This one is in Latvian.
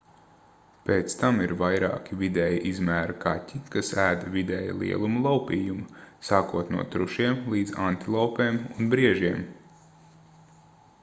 pēc tam ir vairāki vidēja izmēra kaķi kas ēd vidēja lieluma laupījumu sākot no trušiem līdz antilopēm un briežiem